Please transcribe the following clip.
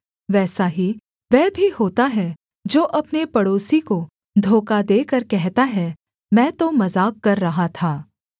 वैसा ही वह भी होता है जो अपने पड़ोसी को धोखा देकर कहता है मैं तो मजाक कर रहा था